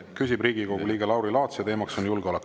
Küsib Riigikogu liige Lauri Laats ja teemaks on julgeolek.